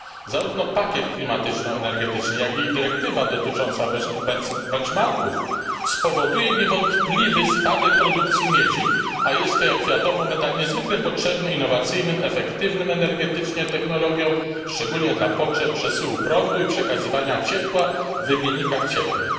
Zarówno pakiet klimatyczno energetyczny, jak i dyrektywa dotycząca benchmarków spowodują niewątpliwie spadek produkcji miedzi, a jest to, jak wiadomo, metal niezwykle potrzebny innowacyjnym i efektywnym energetycznie technologiom, szczególnie dla potrzeb przesyłu prądu i przekazywania ciepła w wymiennikach cieplnych.